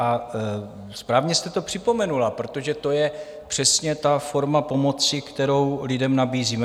A správně jste to připomenula, protože to je přesně ta forma pomoci, kterou lidem nabízíme.